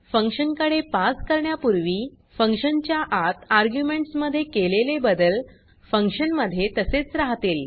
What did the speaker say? function कडे पास करण्यापूर्वी फंक्शन च्या आत आर्ग्युमेंट्स मध्ये केलेले बदल फंक्शन मध्ये तसेच राहतील